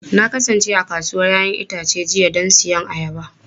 Na kasance a kasuwar 'ya'yan itace jiya don siyan ayaba.